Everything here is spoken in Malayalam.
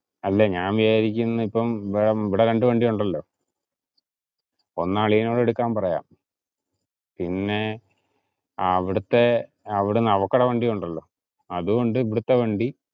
അല്ല ഞാൻ വിചാരിക്കുന്നെ ഇപ്പം ഇവിടെ രണ്ടു വണ്ടി ഉണ്ടല്ലോ. ഒന്ന് അളിയനോട് എടുക്കാൻ പറയാം, പിന്നെ അവിടുത്തെ അവിടുന്ന് അവക്കടെ വണ്ടി ഉണ്ടല്ലോ അതും ഉണ്ട്. ഇവിടുത്തെ വണ്ടി